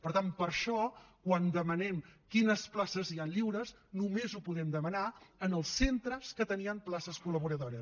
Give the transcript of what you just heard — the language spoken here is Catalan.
per tant per això quan demanem quines places hi han lliures només ho podem demanar als centres que tenien places col·laboradores